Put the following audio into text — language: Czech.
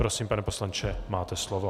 Prosím, pane poslanče, máte slovo.